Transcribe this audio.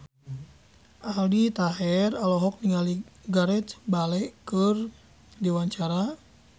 Aldi Taher olohok ningali Gareth Bale keur diwawancara